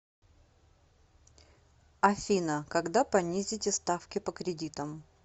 афина когда понизите ставки по кредитам